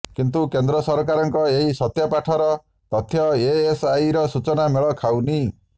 କିନ୍ତୁ କେନ୍ଦ୍ର ସରକାରଙ୍କ ଏହି ସତ୍ୟପାଠର ତଥ୍ୟ ଏଏସ୍ଆଇର ସୂଚନା ମେଳ ଖାଉନି